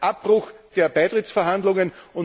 Das heißt Abbruch der Beitrittsverhandlungen!